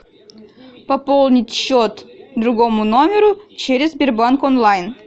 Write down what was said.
пополнить счет другому номеру через сбербанк онлайн